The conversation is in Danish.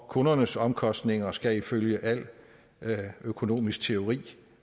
og kundernes omkostninger skal ifølge al økonomisk teori